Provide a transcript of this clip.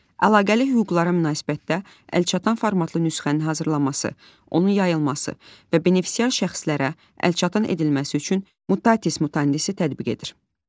Əlaqəli hüquqlara münasibətdə əlçatan formatlı nüsxənin hazırlanması, onun yayılması və benefisiar şəxslərə əlçatan edilməsi üçün mutatis mutandis tətbiq edir.